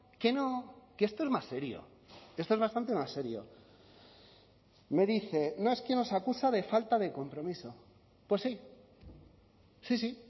que no que esto es más serio esto es bastante más serio me dice no es que nos acusa de falta de compromiso pues sí sí sí